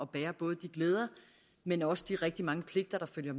bære både de glæder men også de rigtig mange pligter der følger